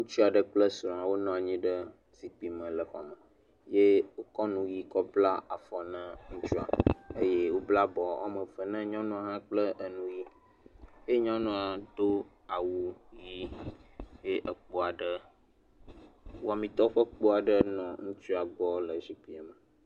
Ŋutsu aɖe kple srɔ̃a wonɔ anyi ɖe xɔ aɖe me, ye wokɔ nu ʋi kɔ bla afɔ na ŋutsua eye wobla bɔ woame eve na nyɔnua hã kple enu ʋi eye nyɔnua do awu ʋi eye ekpo aɖe wɔamitɔwo ƒe kpo aɖe nɔ ŋutsua gbɔ le zikpui me.